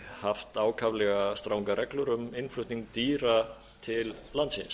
haft ákaflega strangar reglur um innflutning dýra til landsins